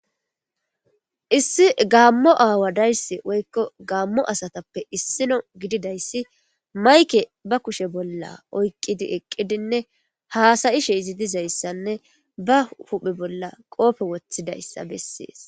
Issi Gaamo aawa dayssi woyko Gaamo asatappe issino gidida issi mayke ba kushe bollan oykkidi ekkidinne, haasayishe iziddiza issanne ba huupe bollan qoophe wottsida issa bessiis.